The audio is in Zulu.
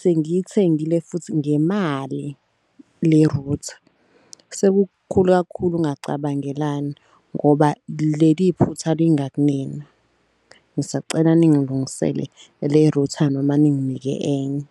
Sengiyithengile futhi ngemali le router sekukhulu kakhulu ukungacabangelani ngoba leli phutha lingakunina. Ngisacela ningilungisele le router noma ninginike enye.